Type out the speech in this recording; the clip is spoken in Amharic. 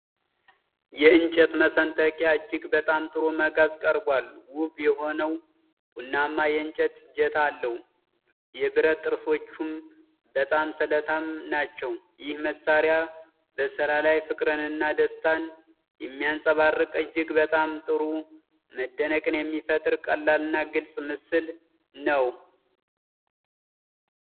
የእንጨት መሰንጠቂያ እጅግ በጣም ጥሩ መጋዝ ቀርቧል። ውብ የሆነው ቡናማ የእንጨት እጀታ አለው፤ የብረት ጥርሶቹም በጣም ስለታም ናቸው። ይህ መሣሪያ በሥራ ላይ ፍቅርንና ደስታን የሚያንጸባርቅ እጅግ በጣም ጥሩ መደነቅን የሚፈጥር ቀላልና ግልጽ ምስል ነው።